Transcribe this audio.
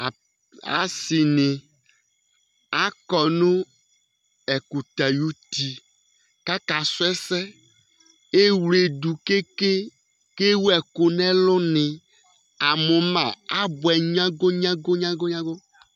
Asi ni akɔ ɛkʋtɛ ayʋti kʋ akasu ɛsɛ Ewledu ke ke kʋ ewu ɛku nʋ ɛlu ni Amʋ ma abʋɛ nyago nyago nyago nyago nyago !!!!!